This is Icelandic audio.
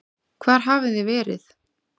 Hvar hafið þið verið?